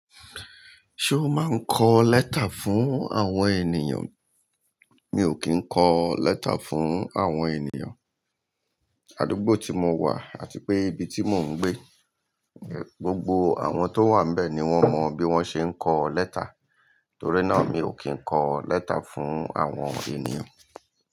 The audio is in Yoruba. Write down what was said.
Ṣo máa ń kọ lẹ́tà fún àwọn ènìyàn? Mi ò kì ń kọ lẹ́tà fún àwọn ènìyàn. Àdúgbò tí mo wà àti pé ibi tí mò ń gbé, gbogbo àwọn tó wà níbẹ̀ ni wọ́n mọ bí wọ́n ṣe ń kọ lẹ́tà. Torí náà mi ò kì ń kọ lẹ́tà fún àwọn ènìyàn.